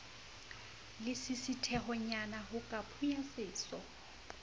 lesisithehonyana ho ka phunya seso